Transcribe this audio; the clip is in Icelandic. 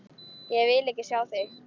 Ég vil ekki sjá þig!